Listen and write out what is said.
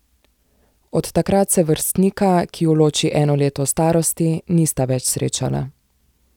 Od takrat se vrstnika, ki ju loči eno leto starosti, nista več srečala.